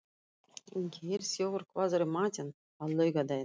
Geirþjófur, hvað er í matinn á laugardaginn?